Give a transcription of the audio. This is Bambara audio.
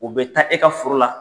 U bɛ taa e ka foro la.